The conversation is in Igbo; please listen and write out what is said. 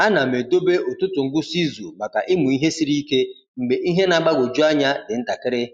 A na m edobe ụtụtụ ngwụsị izu maka ịmụ ihe siri ike mgbe ihe na-agbagwoju anya dị ntakịrị.